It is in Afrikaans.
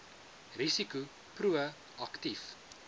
risiko pro aktief